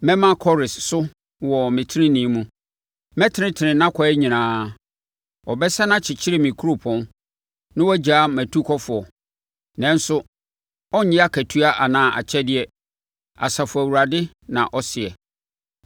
Mɛma Kores so wɔ me tenenee mu; mɛtenetene nʼakwan nyinaa. Ɔbɛsane akyekyere me kuropɔn na wagyaa mʼatukɔfoɔ, nanso ɔrennye akatua anaa akyɛdeɛ, Asafo Awurade na ɔseɛ.”